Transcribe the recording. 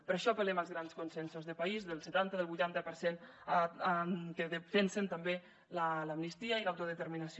per això apel·lem als grans consensos de país del setanta del vuitanta per cent que defensen també l’amnistia i l’autodeterminació